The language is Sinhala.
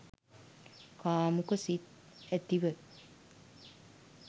කාමුක සිත් ඇතිව